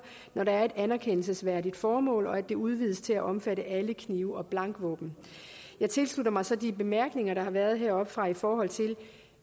når der er et anerkendelsesværdigt formål og at det udvides til at omfatte alle knive og blankvåben jeg tilslutter mig så de bemærkninger der har været heroppefra i forhold til